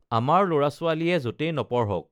আমাৰ লৰা ছো‌ৱালীয়ে যতেই নপঢ়ক